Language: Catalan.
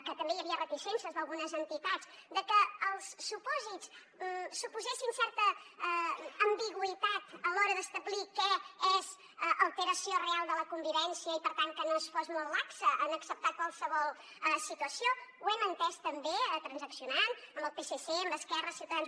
que també hi havia reticències d’algunes entitats de que els supòsits suposessin certa ambigüitat a l’hora d’establir que és alteració real de la convivència i per tant que no fos molt laxa en acceptar qualsevol situació ho hem entès també transaccionant amb el psc amb esquerra ciutadans